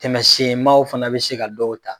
Tɛmɛsen maaw fana bɛ se ka dɔw ta